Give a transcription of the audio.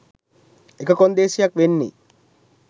එක කොන්දේසියක් වෙන්නේ